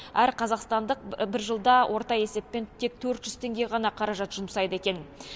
әр қазақстандық бір жылда орта есеппен тек төрт жүз теңге ғана қаражат жұмсайды екен